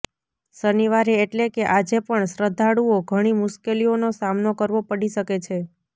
શનિવારે એટલે કે આજે પણ શ્રધ્ધાળુઓ ઘણી મુશ્કેલીઓનો સામનો કરવો પડી શકે છે